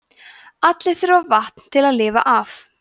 allir þurfa vatn til að lifa af